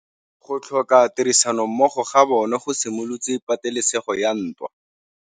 Go tlhoka tirsanommogo ga bone go simolotse patêlêsêgô ya ntwa.